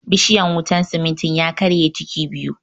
Bishiyan wutan simintin ya karshe ciki biyu